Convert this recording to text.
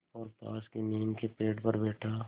और पास की नीम के पेड़ पर बैठा